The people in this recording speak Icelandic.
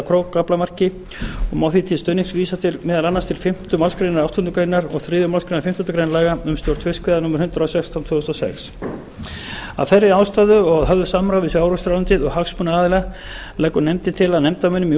krókaaflamarki og má því til stuðnings vísa meðal annars til fimmtu málsgrein áttundu greinar og þriðju málsgrein fimmtándu grein laga um stjórn fiskveiða númer hundrað og sextán tvö þúsund og sex af þeirri ástæðu og að höfðu samráði við sjávarútvegsráðuneytið og hagsmunaaðila leggur nefndin til að nefndarmönnum í úrskurðarnefnd